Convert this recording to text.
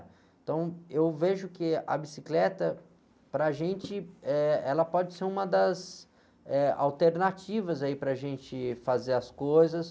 Então, eu vejo que a bicicleta, para gente, eh, ela pode ser uma das, eh, alternativas aí para gente fazer as coisas.